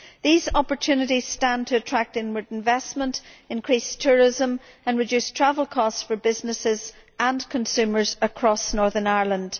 These opportunities stand to attract inward investment, increase tourism and reduce travel costs for businesses and consumers across Northern Ireland.